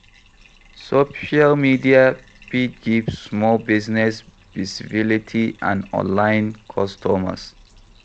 Social media fit give small business visibility and online customers